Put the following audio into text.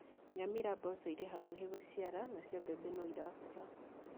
Nyamira mboco irĩ hakuhĩ gũciara nacio mbembe no irakũra